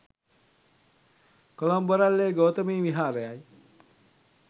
කොළඹ, බොරැල්ලේ ගෝතමී විහාරයයි.